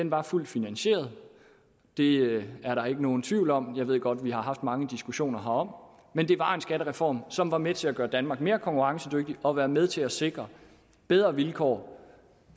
var fuldt finansieret det er der ikke nogen tvivl om jeg ved godt at vi har haft mange diskussioner herom men det var en skattereform som var med til at gøre danmark mere konkurrencedygtig og som var med til at sikre bedre vilkår